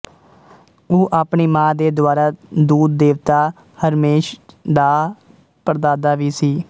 ਉਹ ਆਪਣੀ ਮਾਂ ਦੇ ਦੁਆਰਾ ਦੂਤ ਦੇਵਤਾ ਹਰਮੇਸ ਦਾ ਪੜਦਾਦਾ ਵੀ ਸੀ